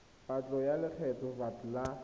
patlo ya lekgetho vat la